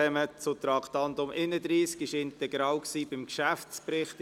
Das Traktandum 31 wurde als integraler Bestandteil des Geschäftsberichts beraten.